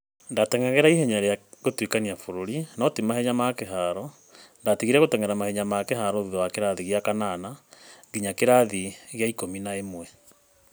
ndateng'eraga ihenya rĩa gũtuĩkania bũrũri (no ti mahenya ma kĩharo, ndatigire gũteng'era mahenya ma kĩharo thutha wa kĩrathi gĩa kanana) nginya kirathi kĩa ikũmi na ĩmwe.